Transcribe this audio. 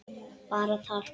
Bara tal.